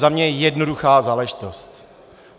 Za mě jednoduchá záležitost.